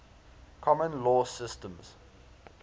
common law systems